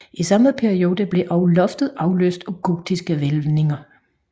I samme periode blev også loftet afløst af gotiske hvælvinger